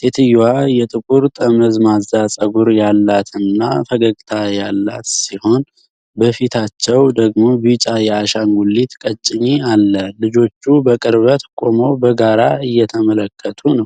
ሴትየዋ ጥቁር ጠመዝማዛ ፀጉር ያላትና ፈገግታ ያላት ሲሆን፣ በፊታቸው ደግሞ ቢጫ የአሻንጉሊት ቀጭኔ አለ። ልጆቹ በቅርበት ቆመው በጋራ እየተመለከቱ ነው።